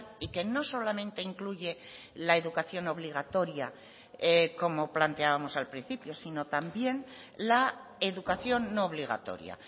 y que no solamente incluye la educación obligatoria como planteábamos al principio sino también la educación no obligatoria